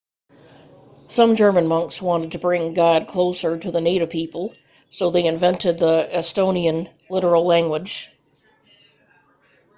some german monks wanted to bring god closer to the native people so they invented the estonian literal language